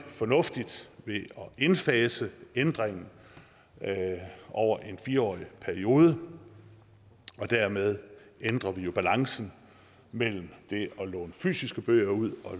fornuftigt ved at indfase ændringen over en fire årig periode og dermed ændrer vi jo balancen mellem det at låne fysiske bøger ud og